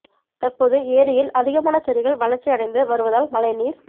தற்போது ஏரியில் அதிகமான செடிகள் வளர்ச்சி அடைந்து வருவதால் மழை நீர்